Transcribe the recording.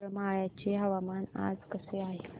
करमाळ्याचे हवामान आज कसे आहे